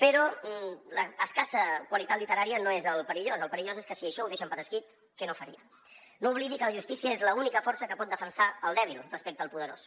però l’escassa qualitat literària no és el perillós el perillós és que si això ho deixen per escrit què no farien no oblidi que la justícia és l’única força que pot defensar el dèbil respecte al po·derós